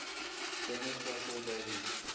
dennis russell davies